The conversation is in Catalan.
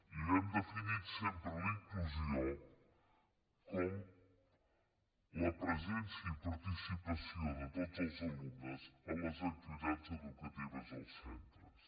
i hem definit sempre la inclusió com la presència i participació de tots els alumnes a les activitats educatives dels centres